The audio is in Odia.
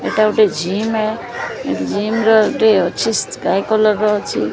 ଏଟା ଗୋଟେ ଜିମ୍ ଜିମ୍ ର ଅଛି ସ୍କାଏ କଲର୍ ର ଅଛି।